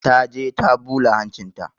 Ta je ta ɓula hancinta.